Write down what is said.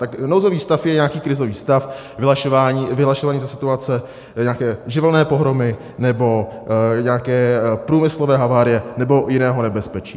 Tak nouzový stav je nějaký krizový stav vyhlašovaný za situace nějaké živelní pohromy nebo nějaké průmyslové havárie nebo jiného nebezpečí.